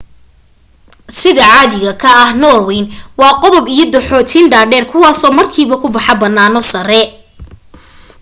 sida caadiga ka ah norwayn waa godad iyo dooxooyin dhaadheer kuwaasoo markiiba ku baxa bannaano sare